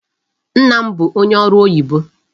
Nna m bụ onye ọrụ oyibo.